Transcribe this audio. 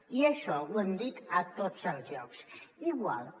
i això ho hem dit a tots els llocs igual que